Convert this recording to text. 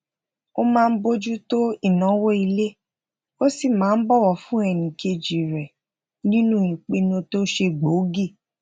ó máa ń bójú tó inawo ile ó sì máa ń bòwò fún ẹnikeji re ninu ipinu to se gboogi